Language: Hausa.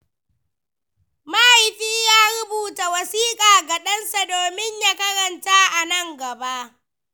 Mahaifi ya rubuta wasiƙa ga ɗansa domin ya karanta a nan gaba.